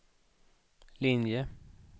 linje